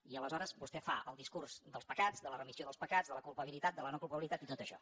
i aleshores vostè fa el discurs dels pecats de la remissió dels pecats de la culpa bilitat de la no culpabilitat i tot això